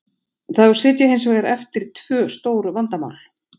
Þá sitja hins vegar eftir tvö stór vandamál.